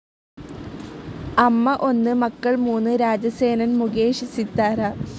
അമ്മ ഒന്ന്, മക്കൾ മൂന്ന് രാജസേനനൻ മുകേഷ്, സിതാര